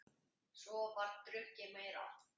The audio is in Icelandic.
Svo var drukkið meira.